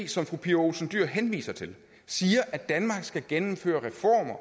som fru pia olsen dyhr henviser til siger at danmark skal gennemføre reformer